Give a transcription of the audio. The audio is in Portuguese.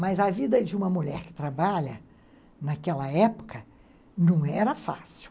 Mas a vida de uma mulher que trabalha, naquela época, não era fácil.